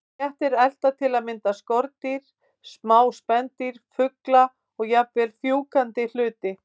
Kettir elta til að mynda skordýr, smá spendýr, fugla og jafnvel fjúkandi hluti.